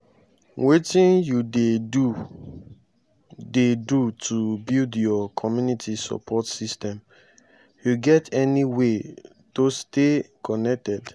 wetin you dey do dey do to build your community support system you get any way tostay connected?